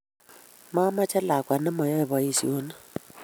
mameche lakwa ne mayoe boisionik